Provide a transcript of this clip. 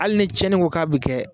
Hali ni tiɲɛni ko k'a bɛ kɛ.